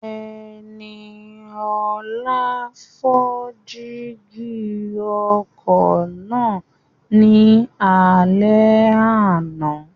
Ẹniọlá fọ́ jígí ọkọ̀ náà ní alẹ́ àná